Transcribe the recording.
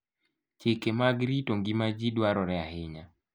Chike mag rito ngima ji dwarore ahinya.